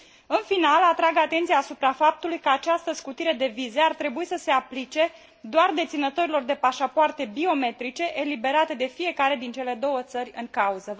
În final, atrag atenția asupra faptului că această scutire de vize ar trebui să se aplice doar deținătorilor de pașapoarte biometrice, eliberate de fiecare din cele două țări în cauză.